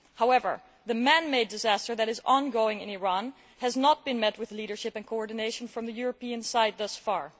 However, the man made disaster that is ongoing in Iran has not been met with leadership and coordination from the European side thus far.